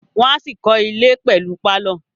Wọ́n á ṣì kọ́ ilẹ̀ pẹ̀lú pálọ̀